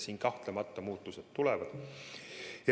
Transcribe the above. Siin kahtlemata muutused tulevad.